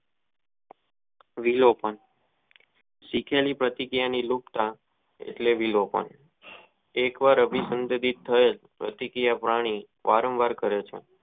Video કોન્ટ શીખેલી પ્રતિ ક્રિયા ની લુપ્તા એટલે વિલોપન એક વાર અભી સબ્ટ પ્રતિ ક્રિયા પ્રાણી વારંવાર કરે છે.